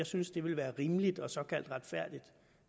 synes det ville være rimeligt og såkaldt retfærdigt